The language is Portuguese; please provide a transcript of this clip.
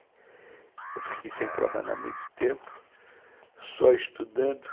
Eu fiquei sem trabalhar muito tempo, só estudando.